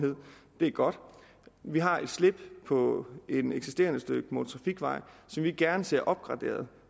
er godt vi har et slip på et eksisterende stykke motortrafikvej som vi gerne ser opgraderet